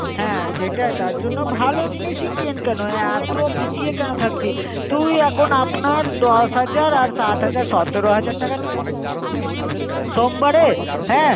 হ্যাঁ সেটা তার জনও ভালো জিনিস এ কিন কেনো অত পিছিয়ে কেনো থাকবি. তুই এখন আপনার দশ হাজার আর সাথ হাজার সতেরো হাজার টাকা তুই আমাকে দিয়ে দিস সোমবারে.